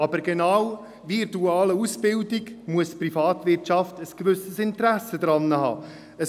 Doch genau wie in der dualen Ausbildung muss die Privatwirtschaft ein gewisses Interesse daran haben.